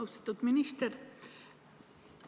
Austatud minister!